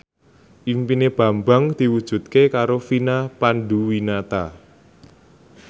impine Bambang diwujudke karo Vina Panduwinata